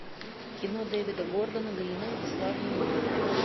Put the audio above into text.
кино дэвида гордона грина бесславные ублюдки